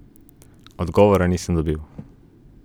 Odgovora nisem dobil.